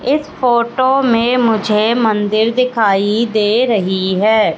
इस फोटो में मुझे मंदिर दिखाई दे रही है।